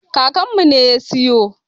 Kakanmu ne ya siyo.